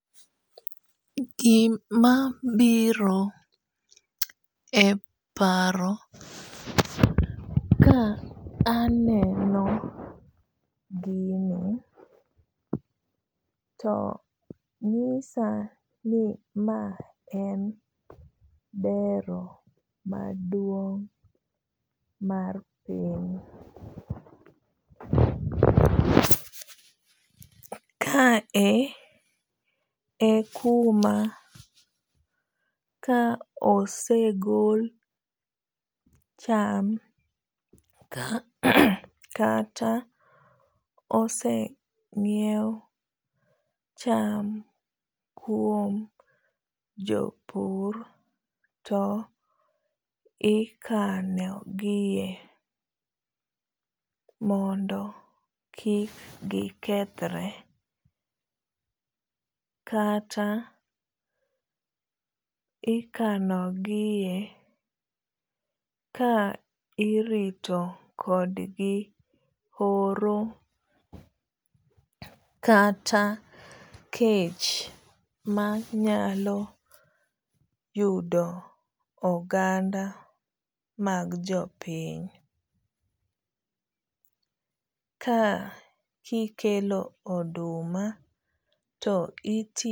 Gima biro e paro ka aneno gini to nyisa ni ma en dero maduong' mar piny. Kae e kuma ka osegol cham kata oseng'iew cham kuom jopur to ikanogie mondo kik gikethre. Kata ikanogie ka irito kodgi horo kata kech manyalo yudo oganda mag jopiny. Ka kikelo oduma to.